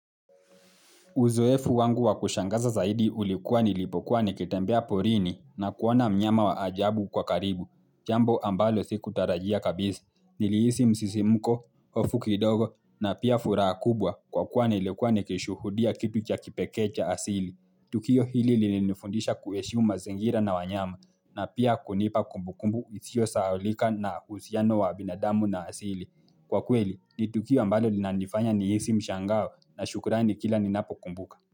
Uzoefu wangu wa kushangaza zaidi ulikuwa nilipokuwa nikitembea porini na kuona mnyama wa ajabu kwa karibu. Jambo ambalo sikutarajia kabisa. Nilihisi msisimuko, hofu kidogo na pia furaha kubwa kwa kuwa nilikuwa nikishuhudia kitu cha kipekee cha asili. Tukio hili lilinifundisha kuheshimu mazingira na wanyama na pia kunipa kumbukumbu isiyo sahaulika na uhusiano wa binadamu na asili. Kwa kweli, ni tukio ambalo linanifanya nihisi mshangao na shukurani kila ninapokumbuka.